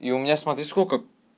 и у меня смотри сколько